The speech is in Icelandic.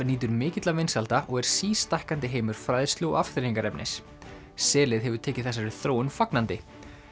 nýtur mikilla vinsælda og er sístækkandi heimur fræðslu og afþreyingarefnis selið hefur tekið þessari þróun fagnandi